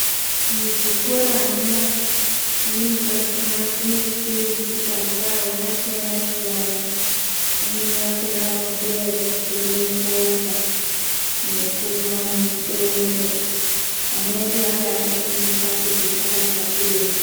Muzvikoramwo kumweni kwachona kunoiswe misikazwa yakasiyana siyana imweni yakona ngeyekubheme forya nekumwa nedoro ana edu anoda kufundiswa kuti zvakashatirei.